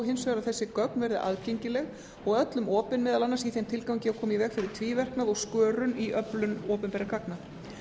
hins vegar að þessi gögn verði aðgengileg og öllum opin meðal annars í þeim tilgangi að koma í veg fyrir tvíverknað og skörun í öflun opinberra gagna